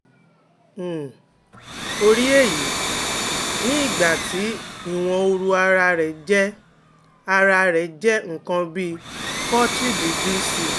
um ó ri eyi ní igba ti iwon ooru ara re je ara re je nǹkan bí forty degree c